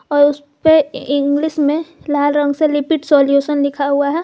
और उसपे इंग्लिश में लाल रंग से लिपिड सॉल्यूशन लिखा है।